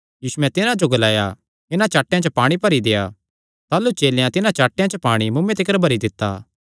यीशुयैं तिन्हां जो ग्लाया इन्हां चाट्टेयां च पाणी भरी देआ ताह़लू चेलेयां तिन्हां चाट्टेयां च पाणी मुँऐ तिकर भरी दित्ता